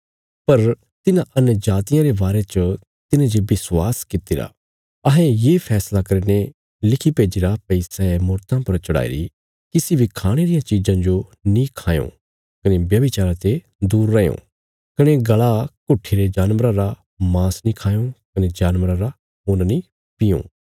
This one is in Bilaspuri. पर तिन्हां अन्यजातियां रे बारे च तिन्हें जे विश्वास कित्तिरा अहें ये फैसला करीने लिखी भेजीरा भई सै मूर्तां पर चढ़ाईरी किसी बी खाणे रिया चीज़ा जो नीं खायां कने व्यभिचारा ते दूर रैयां कने गल़ा घुट्ठीरे जानवरा रा मांस नां खाये कने जानवरा रा खून्न नीं पीये